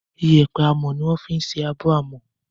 Yépẹ́ amọ́ ni wọ́n fi ń ṣe abọ́ àmọ́